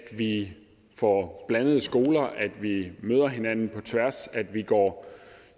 vi får blandede skoler at vi møder hinanden på tværs at vi går